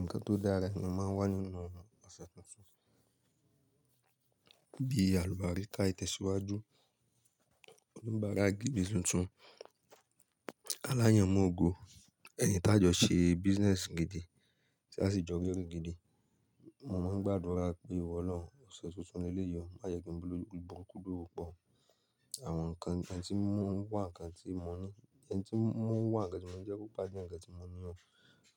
Nǹkan tó dára ni ó máa ń wà nínú ọ̀sẹ̀ tuntun. Bí àlùbariká ìtẹ̀síwájú, oníbàárà gidi tuntun, aláyànmògo, ẹni tí a jọ ṣe business gidi tí a sì jọ rí owó gidi. Mo máa ń gbàdúrà pé, ìwọ Ọlọ́run, ọ̀sẹ̀ tuntun leleyi o, má yẹ kí n ba olóríburúkú do wo pọ̀. Àwọn nǹkan tí ń mú wà, nǹkan tí mo ní, ẹni tí ń mú wà, ǹkan tí mo ní jẹ́ kó bá jẹ́ ǹkan tí mo ní lọ́.